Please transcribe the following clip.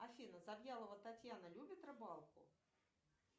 афина завьялова татьяна любит рыбалку